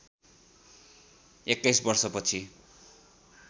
२१ वर्ष पछि